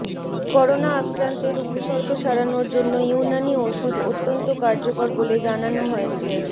corona আক্রান্তের উপসর্গ সারানোর জন্য ইউনানি ওষুধ অত্যন্ত কার্যকর বলে জানানো হয়েছে